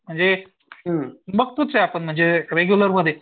म्हणजे बघतोच आहे आपण रेग्युलरमध्ये